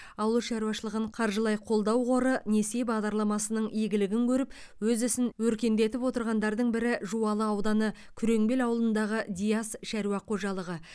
ауыл шаруашылығын қаржылай қолдау қоры несие бағдарламасының игілігін көріп өз ісін өркендетіп отырғандардың бірі жуалы ауданы күреңбел ауылындағы диас шаруа қожалығы